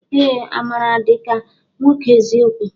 Ee! Amaara ya dịka nwoke eziokwu.